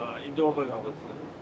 İndi doğma qovurur.